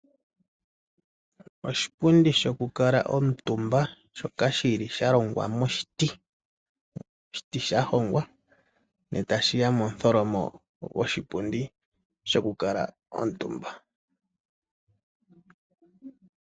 Oshipundi sho kukala omutumba shoka sha longwa moshiti sha hongwa ndele etayi shiya momutholomo goshipundi shoku kala omutumba.